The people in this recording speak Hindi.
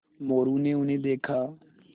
मोरू ने उन्हें देखा